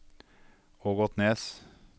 Ågotnes